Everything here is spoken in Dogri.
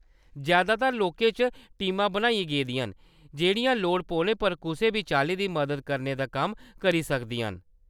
जैदातर लाकें च टीमां बनाइयां गेदियां न जेह्‌‌ड़ियां लोड़ पौने पर कुसै बी चाल्ली दी मदद करने दा कम्म करी सकदियां न।